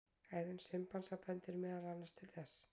Hegðun simpansa bendir meðal annars til þess.